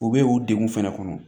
U bɛ u degun fɛnɛ kɔnɔ